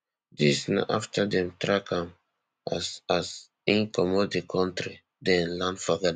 dis na afta dem track am as as im comot di kontri den land for ghana